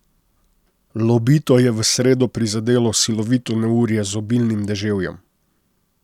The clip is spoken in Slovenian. Lobito je v sredo prizadelo silovito neurje z obilnim deževjem.